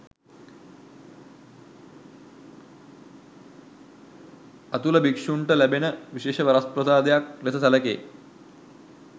අතුල භික්‍ෂූන්ට ලැබෙන විශේෂ වරප්‍රසාදයක් ලෙස සැලකේ.